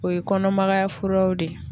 O ye kɔnɔmagaya furaw de ye.